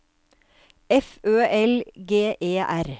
F Ø L G E R